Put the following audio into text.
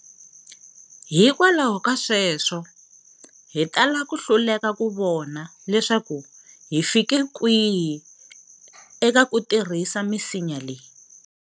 Hikwalaho ka sweswo, hi tala ku hluleka ku vona leswaku hi fike kwihi eka ku tirhisa misinya leyi.